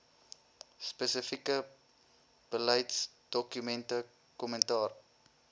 spesifieke beleidsdokumente kommentaar